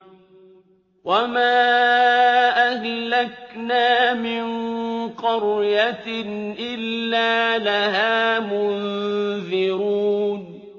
وَمَا أَهْلَكْنَا مِن قَرْيَةٍ إِلَّا لَهَا مُنذِرُونَ